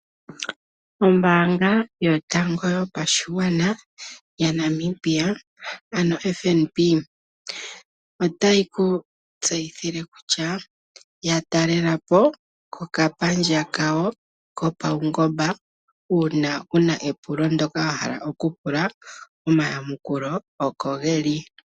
Ombaanga yotango yopashigwana yaNamibia, ano FNB otayi ku tseyithile kutya yatalela po kepandja lyawo lyopaungomba uuna wuna epulo wahala okupula. Omayamukulo oko geli.